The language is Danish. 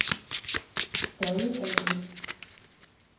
Dolle A/S